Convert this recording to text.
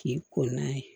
K'i ko n'a ye